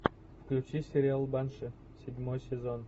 включи сериал банши седьмой сезон